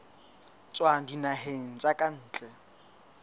tswa dinaheng tsa ka ntle